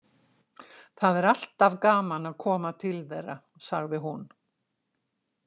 Það er alltaf gaman að koma til þeirra, sagði hún.